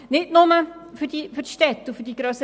Das gilt nicht nur für die grösseren Städte und Orte.